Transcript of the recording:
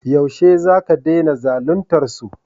Yaushe za ka dena zalintar su?